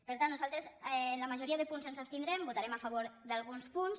per tant nosaltres en la majoria de punts ens abstindrem votarem a favor d’alguns punts